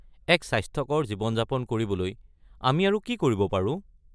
এক স্বাস্থ্যকৰ জীৱন যাপন কৰিবলৈ আমি আৰু কি কৰিব পাৰোঁ?